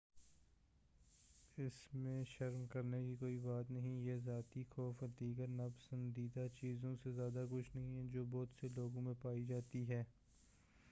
اسمیں شرم کرنے کی کوئی بات نہیں ہے یہ ذاتی خوف اور دیگر ناپسندیدہ چیزوں سے زیادہ کچھ نہیں ہے جو بہت سے لوگوں میں پائی جاتی ہے